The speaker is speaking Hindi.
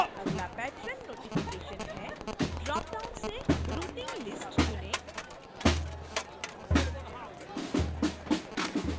अगला patron notification है ड्रॉपडाउन से routing list चुनें